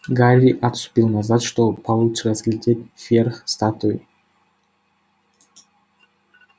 гарри отступил назад чтобы получше разглядеть верх статуи